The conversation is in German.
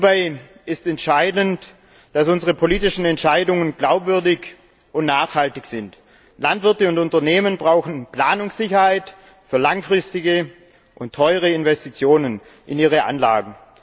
Hierbei ist entscheidend, dass unsere politischen Entscheidungen glaubwürdig und nachhaltig sind. Landwirte und Unternehmen brauchen Planungssicherheit für langfristige und teure Investitionen in ihre Anlagen.